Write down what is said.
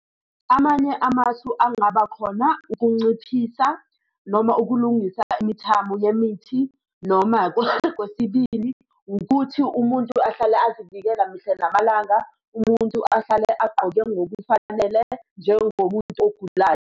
Amanye amasu angaba khona ukunciphisa noma ukulungisa imithamo yemithi noma kokwesibili ukuthi umuntu ahlale azivikela mihla namalanga umuntu ahlale agqoke ngokufanele njengomuntu ogulayo.